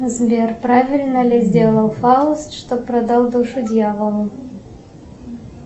сбер правильно ли сделал фауст что продал душу дьяволу